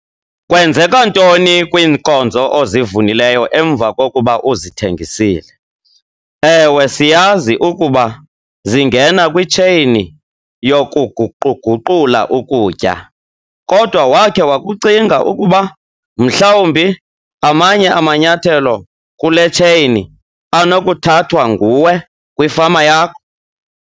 KWENZEKA NTONI KWIINKONZO OZIVUNILEYO EMVA KOKUBA UZITHENGISILE? EWE, SIYAZI UKUBA ZINGENA KWITSHEYINI YOKUGUQU-GUQULA UKUTYA, KODWA WAKHE WAKUCINGA UKUBA MHLAWUMBI AMANYE AMANYATHELO KULE TSHEYINI ANOKUTHATHWA NGUWE KWIFAMA YAKHO?